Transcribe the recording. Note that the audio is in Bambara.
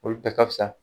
Olu bɛɛ ka fisa